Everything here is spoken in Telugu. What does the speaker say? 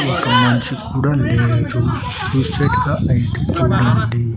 ఒక మనిషి కూడా లేడు చూసెట్టుగా లైట్ చూడండి.